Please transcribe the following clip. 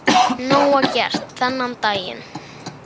Norræna húsið tekur til starfa